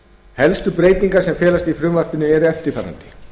helstu breytingar sem felast í frumvarpinu eru eftirfarandi